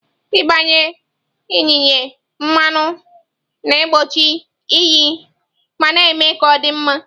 Ịgbanye yinye mmanụ na-egbochi iyi ma na-eme ka ọ dị mma.